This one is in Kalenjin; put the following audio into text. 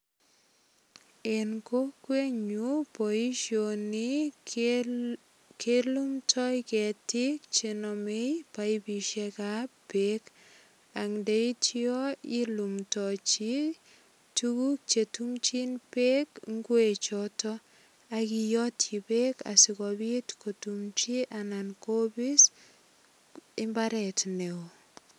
En kokwenyu, boisioni kelumndoi ketiik chenamei paipisiekab beek. Ak ndeityo ilumndochi tuguk chetumchin beek ingwechoto ak iyotyi beek asigopit kotumchi anan kopis imbaret neo.